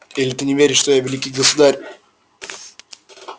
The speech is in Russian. или ты не веришь что я великий государь